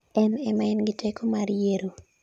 en ema en gi teko mar yiero